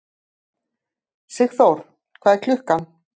Sigþór, hvað er klukkan?